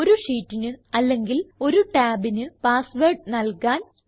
ഒരു ഷീറ്റിന് അല്ലെങ്കിൽ ഒരു ടാബിന് പാസ്വേർഡ് നല്കാൻ